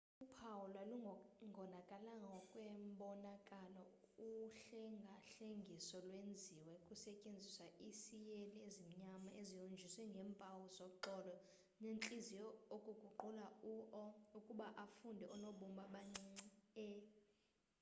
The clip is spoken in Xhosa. uphawu lwalungonakalanga ngokwembonakalo uhlengahlengiso lwenziwe kusetyenziswa iiseyile ezimnyama ezihonjiswe ngeempawu zoxolo nentliziyo ukuguqula u o ukuba afunde oonobumba abancinci e